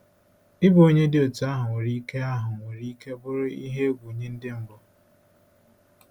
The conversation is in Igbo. Ịbụ onye dị otú ahụ nwere ike ahụ nwere ike bụrụ ihe egwu nye Ndị mbụ?